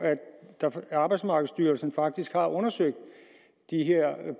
at arbejdsmarkedsstyrelsen faktisk har undersøgt de her